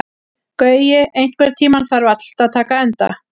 Gaui, einhvern tímann þarf allt að taka enda.